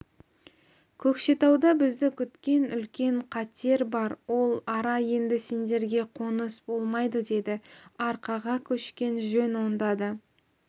көкшетауда бізді күткен үлкен қатер бар ол ара енді сендерге қоныс болмайды деді арқаға көшкен жөн онда да